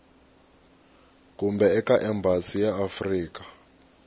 kumbe eka embasi ya afrika